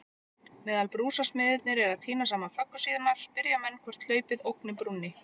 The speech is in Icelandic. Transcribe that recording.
Meðan brúarsmiðirnir eru að týna saman föggur sínar, spyrja menn hvort hlaupið ógni brúnni?